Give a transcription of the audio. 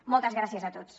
moltes gràcies a tots